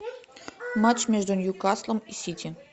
матч между ньюкаслом и сити